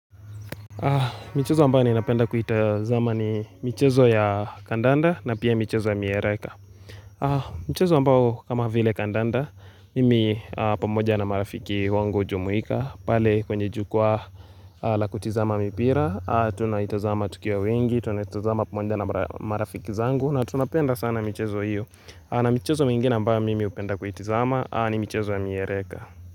Michezo ambayo naeza penda kuita zama ni michezo ya kandanda, na pia michezo ya miereka. A Mchezo ambao kama vile kandanda Mimi a pamoja na marafiki wangu hujumuika pale kwenye jukwaa a lakutizama mipira, a tunaitazama tukiwa wengi, tunaitazama pamonja na mara marafiki zangu na tunapenda sana michezo hiyo. A na michezo mingine ambayo mimi hupenda kuitizama, a ni michezo ya miereka.